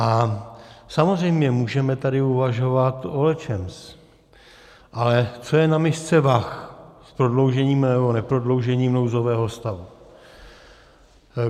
A samozřejmě můžeme tady uvažovat o lecčems, ale co je na misce vah s prodloužením, nebo neprodloužením nouzového stavu?